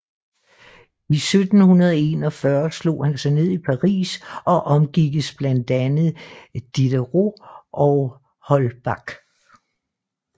I 1741 slog han sig ned i Paris og omgikkes blandt andre Diderot og Holbach